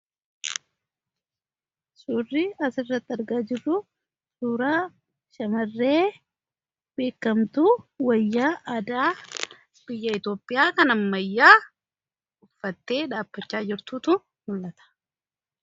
Suurrii as irratti argaa jirru suuraa shamarree beekamtu wayya aadaa biyya Itoophiyaa kan ammayyaa uffattee dhaabachaa jirtuutu mul'ata.